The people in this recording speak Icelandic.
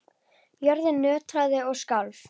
Jörðin nötraði og skalf.